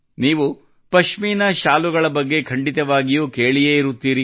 ನೀವು ಪಶ್ಮೀನಾ ಶಾಲು ಬಗ್ಗೆ ಖಂಡಿತವಾಗಿಯೂ ಕೇಳಿಯೇ ಇರುತ್ತೀರಿ